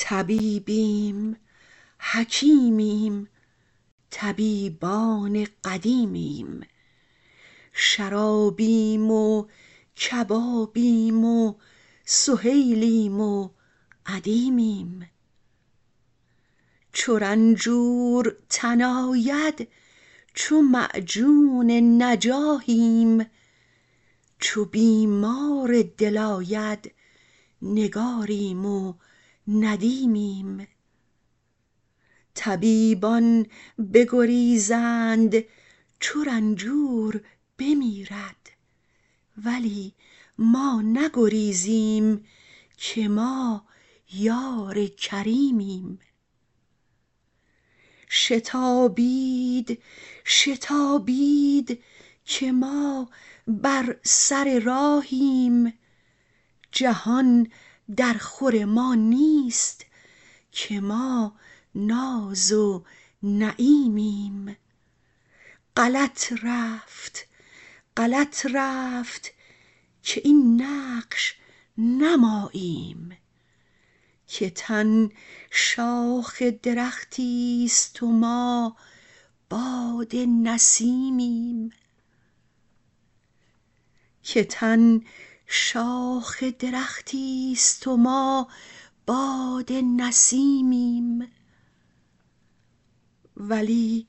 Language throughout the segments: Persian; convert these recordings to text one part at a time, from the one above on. طبیبیم حکیمیم طبیبان قدیمیم شرابیم و کبابیم و سهیلیم و ادیمیم چو رنجور تن آید چو معجون نجاحیم چو بیمار دل آید نگاریم و ندیمیم طبیبان بگریزند چو رنجور بمیرد ولی ما نگریزیم که ما یار کریمیم شتابید شتابید که ما بر سر راهیم جهان درخور ما نیست که ما ناز و نعیمیم غلط رفت غلط رفت که این نقش نه ماییم که تن شاخ درختی است و ما باد نسیمیم ولی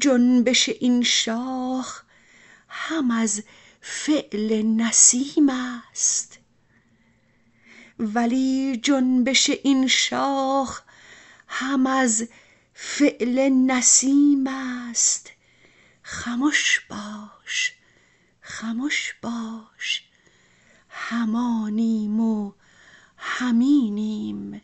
جنبش این شاخ هم از فعل نسیم است خمش باش خمش باش هم آنیم و هم اینیم